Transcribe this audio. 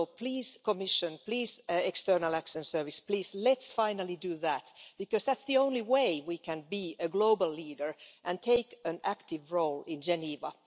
So please Commission, please External Action Service, please let's finally do that because that's the only way we can be a global leader and take an active role in Geneva.